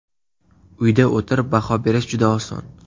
Uyda o‘tirib baho berish juda oson.